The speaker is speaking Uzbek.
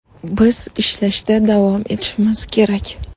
Biz ishlashda davom etishimiz kerak.